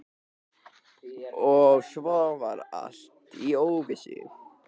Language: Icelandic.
Og svo var allt í óvissu.